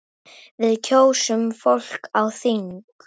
Við kjósum fólk á þing.